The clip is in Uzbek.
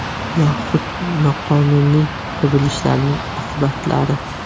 Yoxud noqonuniy qurilishlarning oqibatlari.